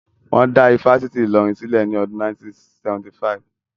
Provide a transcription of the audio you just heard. Wọ́n dá ifásitì Ìlọrin sílẹ̀ ní ọdún 1975